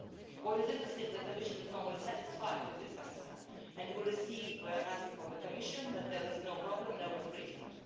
What is interesting is that the Commission is normally satisfied with this answer and we receive answers from the Commission saying that there is no problem and no infringement.